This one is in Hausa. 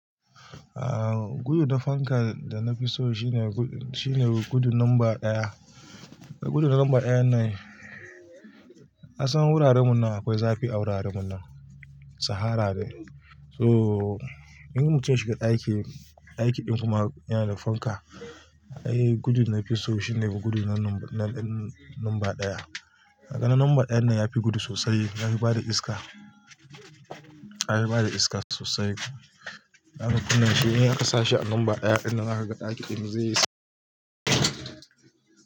Aaa, gudu na fanka da na fi so shine gudu, shine gudu numba ɗaya. Gudu na numba ɗayan nan, kasan wuraren mu nan akwai zafi a wuraren mu nan, sahara ne. So in mutum ya shiga ɗaki, ɗaki ɗin kuma yana da fanka, ai gudu na fi so shine gudu na numba ɗaya. Da ga na numba ɗayan nan ya fi gudu sosai, ya fi bada iska. Ya fi bada iska sosai. Na kuma kunna shi, in aka sa shi a numba ɗaya ɗin da naga ɗaki ɗin zai yi s-